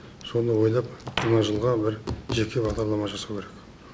соны ойлап жаңа жылға бір жеке бағдарлама жасау керек